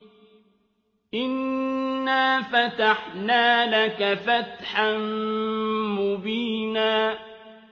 إِنَّا فَتَحْنَا لَكَ فَتْحًا مُّبِينًا